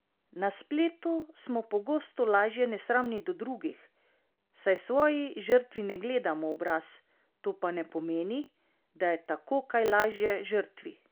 Na spletu smo pogosto lažje nesramni do drugih, saj svoji žrtvi ne gledamo v obraz, to pa ne pomeni, da je tako kaj lažje žrtvi!